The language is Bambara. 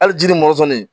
Hali jiri mɔsɔn nin